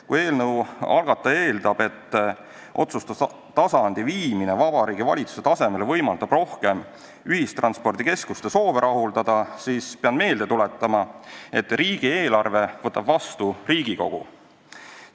Kui eelnõu algataja eeldab, et otsustustasandi viimine Vabariigi Valitsuse tasemele võimaldab rohkem ühistranspordikeskuste soove rahuldada, siis pean meelde tuletama, et riigieelarve võtab vastu Riigikogu.